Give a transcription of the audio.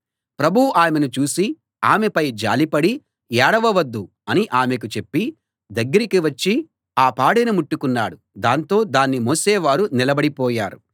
ప్రభువు ఆమెను చూసి ఆమెపై జాలిపడి ఏడవ వద్దు అని ఆమెకు చెప్పి దగ్గరికి వచ్చి ఆ పాడెను ముట్టుకున్నాడు దాంతో దాన్ని మోసేవారు నిలబడి పోయారు